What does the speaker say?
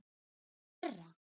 Til hverra?